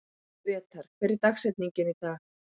Grétar, hver er dagsetningin í dag?